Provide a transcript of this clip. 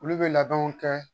Olu bɛ labɛnw kɛ